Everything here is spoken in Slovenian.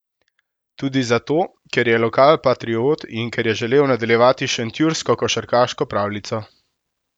Tudi zato, ker je lokalpatriot in ker je želel nadaljevati šentjursko košarkarsko pravljico.